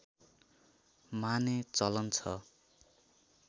माने चलन छ